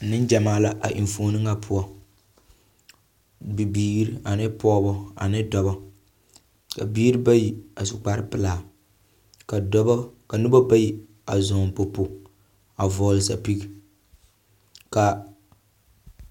Neŋgyamaa la a enfuoni ŋa poɔ. Bibiiri ane pɔgeba ane dɔda ka biiri bayi asu kpare pelaa ka dɔbɔ, ka noba bayi a zɔŋ popo a vɔgele sapigi, ka…